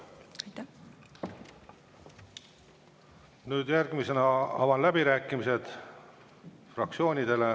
Avan fraktsioonide läbirääkimised.